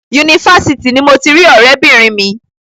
Yunifásitì ni mo ti rí ọ̀rẹ́bìnrin mi.